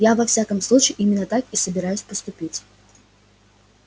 я во всяком случае именно так и собираюсь поступить